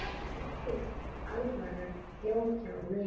Engin alvara bjó hjá mér.